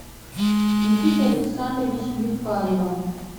никитой александровичем вихаревым